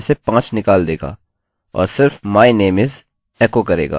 तो यह लेन्थ में से 5 निकाल देगा और सिर्फ my name is एको करेगा